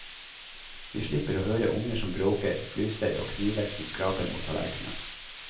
Vi slipper å høre unger som bråker , flystøy, og kniver som skraper mot tallerkenen.